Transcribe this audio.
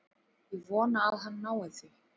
Ég vona að hann nái því.